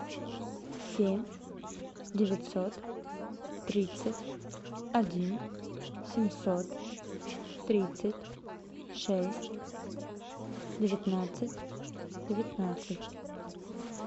семь девятьсот тридцать один семьсот тридцать шесть девятнадцать девятнадцать